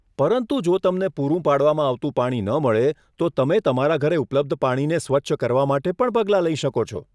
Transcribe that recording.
પરંતુ જો તમને પૂરું પાડવામાં આવતું પાણી ન મળે, તો તમે તમારા ઘરે ઉપલબ્ધ પાણીને સ્વચ્છ કરવા માટે પણ પગલાં લઈ શકો છો.